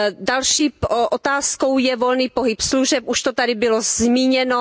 Další otázkou je volný pohyb služeb, už to tady bylo zmíněno.